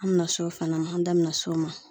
An mi na s'o fana ma , an da mi na s'o ma.